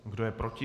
Kdo je proti?